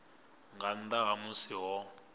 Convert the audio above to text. nga nnḓa ha musi ho